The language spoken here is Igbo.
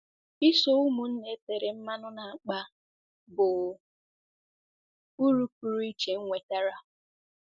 Iso ụmụnna e tere mmanụ na-akpa bụ uru pụrụ iche m nwetara.